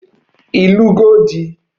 Ị lụgo di?